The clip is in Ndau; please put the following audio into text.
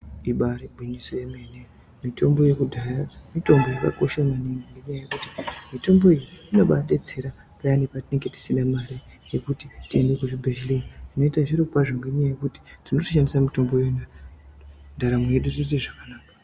Ibaari gwiyiso yemene. Mitombo yekudhaya mitombo yakakosha maningi ngendaa yekuti mitombo iyi inombaabetsera paya patinonga tisina mare yekuti tiende kuzvibhedhlera. tinoite zviro kwazvo ngenyaya yekuti tinoshandise mitombo yedu ndaramo yedu yotoite zvakanaka.